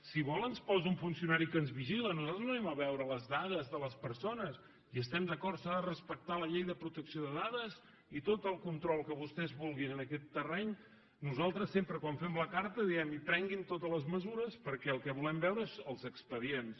si vol ens posa un funcionari que ens vigila nosaltres no anem a veure les dades de les persones hi estem d’acord s’ha de respectar la llei de protecció de dades i tot el control que vostès vulguin en aquest terreny nosaltres sempre quan fem la carta diem que prenguin totes les mesures perquè el que volem és veure els expedients